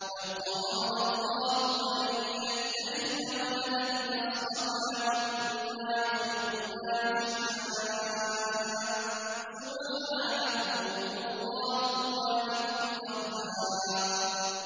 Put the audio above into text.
لَّوْ أَرَادَ اللَّهُ أَن يَتَّخِذَ وَلَدًا لَّاصْطَفَىٰ مِمَّا يَخْلُقُ مَا يَشَاءُ ۚ سُبْحَانَهُ ۖ هُوَ اللَّهُ الْوَاحِدُ الْقَهَّارُ